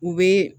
U bɛ